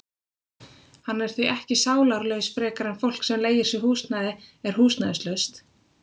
Hann er því ekki sálarlaus frekar en fólk sem leigir sér húsnæði er húsnæðislaust.